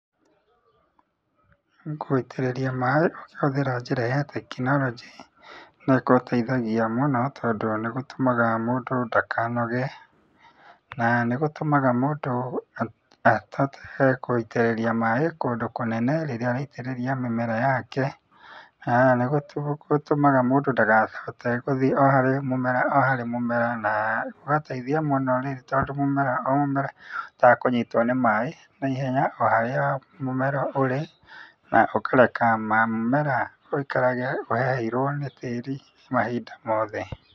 Gũitĩrĩria maĩ ũkĩhũthĩra njĩra ya tekinoronjĩ, no ĩgũteithagia mũno tondũ nĩ ĩtũmaga mũndũ ndakanoge na nĩ gũtũmaga mũndũ ahote gũitĩrĩria maĩ kũndũ kũnene rĩrĩa araitĩrĩria mĩmera yake, na nĩ gũtũmaga mũndũ ndakahote gũthiĩ o harĩ mũmera o harĩ mũmera na ũgateithia mũno tondũ o mũmera o mũmera nĩ ũhotaga kũnyitwo nĩ maĩ na ihenya o harĩa mũmera ũrĩ, na ũkareka mũmera ũikare ũheheirwo nĩ tĩri mahinda mothe.